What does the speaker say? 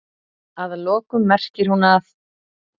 Að lokum merkir hún að?